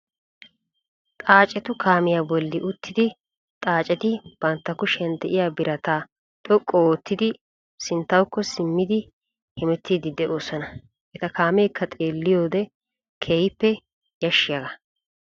Xaacettu kaamiyaa bolli uttidi xaaceti bantta kushiyaan de'iyaa birataa xoqqu oottidi sinttawuko simmiidi hemettiidi de'oosona. eta kaameekka xeelliyoode keehippe yashshiyaagaa.